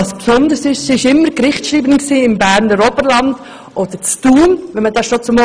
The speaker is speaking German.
Das Besondere ist, dass sie immer Gerichtsschreiberin im Berner Oberland bzw. in Thun war.